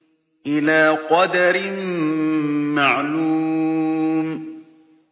إِلَىٰ قَدَرٍ مَّعْلُومٍ